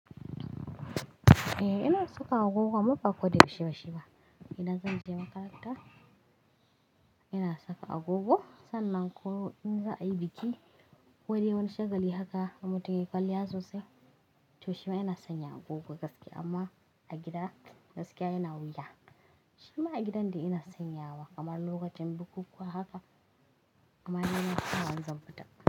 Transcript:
Eh ina saka agogo amma ba koda yaushe yaushe ba. Ina zanje makaranta ina saka agogo sannan ko in za a yi biki kodai wani shagali haka in mutun yayi kwalliya sosai to shima ina sanya agogo gaskiya amma a gida gaskiya ina wuya. Shima a gidan ina sanyawa kamar lokacin bukukuwa haka amma ina sawa in zanfita.